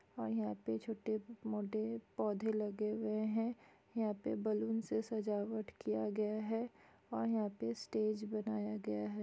और यहाँ पे छोटे -मोटे पौधे लगे हुए है यहाँ पे बलून से सजावट किया गया है और यहाँ पे स्टेज बनाया गया हैं ।